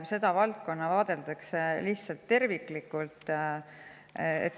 Seda valdkonda vaadeldakse lihtsalt terviklikult.